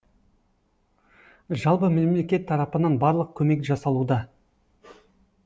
жалпы мемлекет тарапынан барлық көмек жасалуда